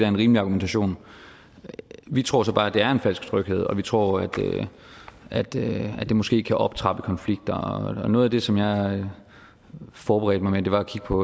en rimelig argumentation vi tror så bare at det er en falsk tryghed og vi tror at at det måske kan optrappe konflikter noget af det som jeg forberedte mig med var at kigge på